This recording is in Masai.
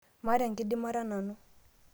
maata enkidimata nanu